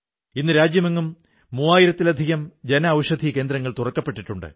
ഇന്ന് രാജ്യമെങ്ങും മൂവായിരത്തിലധികം ജനഔഷധി കേന്ദ്രങ്ങൾ തുറക്കപ്പെട്ടിട്ടുണ്ട്